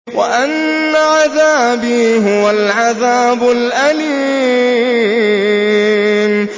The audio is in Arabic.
وَأَنَّ عَذَابِي هُوَ الْعَذَابُ الْأَلِيمُ